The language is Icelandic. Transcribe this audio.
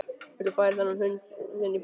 Viltu færa þennan hund þinn í burtu!